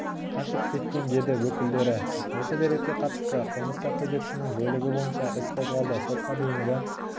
қашып кеткен деді өкілдері осы дерекке қатысты қылмыстық кодексінің бөлігі бойынша іс қозғалды сотқа дейінгі